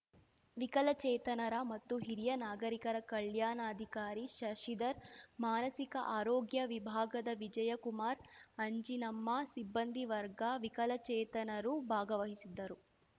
ವಿಕಲಚೇತನರ ಮತ್ತು ಹಿರಿಯ ನಾಗರಿಕರ ಕಲ್ಯಾಣಾಧಿಕಾರಿ ಶಶಿಧರ್‌ ಮಾನಸಿಕ ಆರೋಗ್ಯ ವಿಭಾಗದ ವಿಜಯಕುಮಾರ ಅಂಜಿನಮ್ಮ ಸಿಬ್ಬಂದಿ ವರ್ಗ ವಿಕಲಚೇತನರು ಭಾಗವಹಿಸಿದ್ದರು